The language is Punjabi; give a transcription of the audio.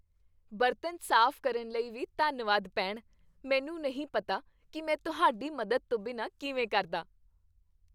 ਬਰਤਨ ਸਾਫ਼ ਕਰਨ ਲਈ ਵੀ ਧੰਨਵਾਦ, ਭੈਣ। ਮੈਨੂੰ ਨਹੀਂ ਪਤਾ ਕੀ ਮੈਂ ਤੁਹਾਡੀ ਮਦਦ ਤੋਂ ਬਿਨਾਂ ਕਿਵੇਂ ਕਰਦਾ।